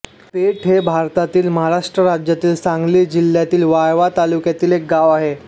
पेठ हे भारतातील महाराष्ट्र राज्यातील सांगली जिल्ह्यातील वाळवा तालुक्यातील एक गाव आहे